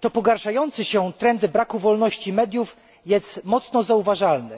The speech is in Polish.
to pogarszający się trend braku wolności mediów jest mocno zauważalny.